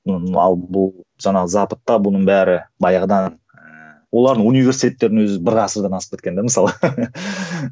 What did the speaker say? ал бұл жаңағы западта бұның бәрі баяғыдан ыыы олардың университеттерінің өзі бір ғасырдан асып кеткен де мысалы